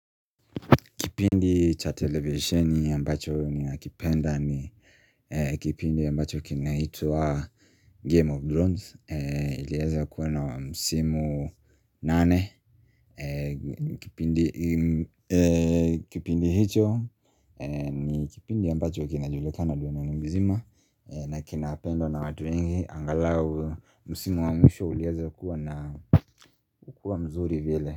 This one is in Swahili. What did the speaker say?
Kipindi cha televisheni ambacho ninakipenda ni eeh kipindi ambacho kinaitwaa Game of Drones iliaza kuwena wa msimu nane ni eeh kipindi hicho eeh ni kipindi ambacho kinajulikana dunia mzima na kinapendwa na watu wengi angalau msimu wa mwisho ulianza kuwa na kukuwa mzuri vile.